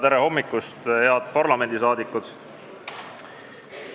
Tere hommikust, head parlamendiliikmed!